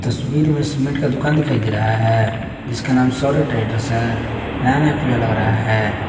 तस्वीर में सीमेंट का दुकान दिखाई दे रहा है जिसका नाम शौर्य ट्रेडर्स है नया नया खुला लग रहा है।